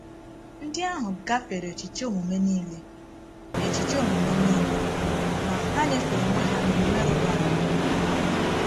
Ndị ahụ “gafere echiche omume niile,” echiche omume niile,” ma “ha nyefere onwe ha n’omume rụrụ arụ.”